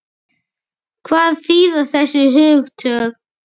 Hvað þýða þessi hugtök?